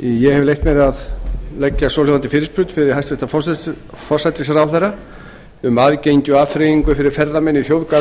ég hef leyft mér að leggja svohljóðandi fyrirspurn fyrir hæstvirtan forsætisráðherra um aðgengi og afþreyingu fyrir ferðamenn í